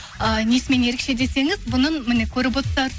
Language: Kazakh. ы несімен ерекше десеңіз бұнын міне көріп